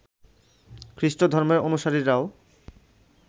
খ্রিষ্ট ধর্মের অনুসারীরাও